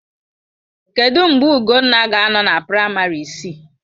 Kedụ mgbe Ugonna ga-anọ na praịmarị isii?